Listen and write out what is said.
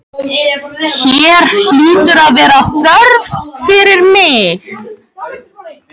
Hér hlýtur að vera þörf fyrir mig.